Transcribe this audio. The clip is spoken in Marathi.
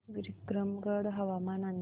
विक्रमगड हवामान अंदाज